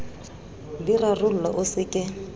di rarollwa o se ke